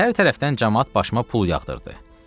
Hər tərəfdən camaat başıma pul yağdırdı.